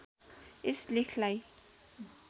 यस लेखलाई